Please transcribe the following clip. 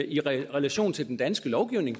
i relation til den danske lovgivning